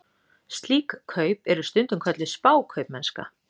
Slík kaup eru stundum kölluð spákaupmennska.